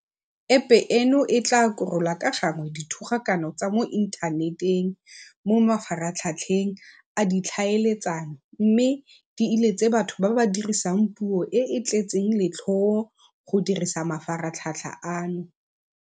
Epe eno e tla korola ka gangwe dithogakano tsa mo inthaneteng mo mafaratlhatlheng a ditlhaeletsano mme di iletse batho ba ba dirisang puo e e tletseng letlhoo go dirisa mafaratlhatlha ano.